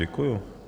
Děkuji.